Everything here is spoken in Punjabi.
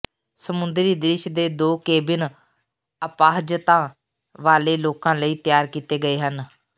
ਸਮੁੰਦਰੀ ਦ੍ਰਿਸ਼ ਦੇ ਦੋ ਕੇਬਿਨ ਅਪਾਹਜਤਾ ਵਾਲੇ ਲੋਕਾਂ ਲਈ ਤਿਆਰ ਕੀਤੇ ਗਏ ਹਨ